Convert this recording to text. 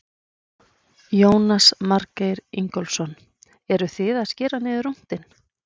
Jónas Margeir Ingólfsson: Eruð þið að skera niður rúntinn?